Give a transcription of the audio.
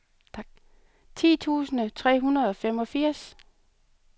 ti tusind tre hundrede og femogfirs